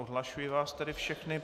Odhlašuji vás tedy všechny.